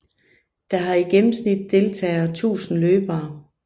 Der har i gennemsnit deltager 1000 løbere